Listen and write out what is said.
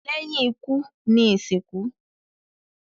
lẹ́yìn ikú ni ìsìnkú.